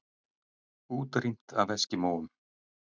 Útrýmt af eskimóum?